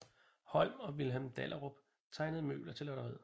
Holm og Vilhelm Dahlerup tegnede møbler til lotteriet